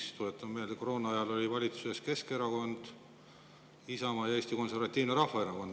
Ja tuletan meelde, et koroona ajal olid valitsuses Keskerakond, Isamaa ja Eesti Konservatiivne Rahvaerakond.